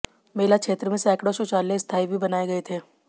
मेला क्षेत्र में सैकड़ों शौचालय स्थाई भी बनाए गए थे